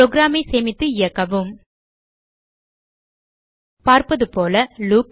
program ஐ சேமித்து இயக்கவும் பார்ப்பதுபோல லூப்